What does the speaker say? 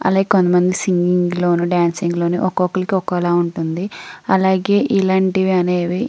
అలాగే కొంతమంది సింగిగ్ లోనూ డ్యాన్సింగ్ లోనూ ఒక్కొక్కళ్ళకి ఒకోలాగా ఉంటుంది అలాగే ఇలాంటివి అనేవి --